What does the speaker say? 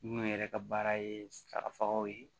Minnu yɛrɛ ka baara ye sagafagaw ye